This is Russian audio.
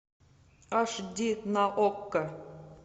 аш ди на окко